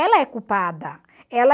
Ela é culpada. Ela